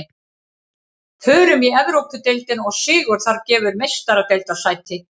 Förum í Evrópudeildina og sigur þar gefur Meistaradeildarsæti.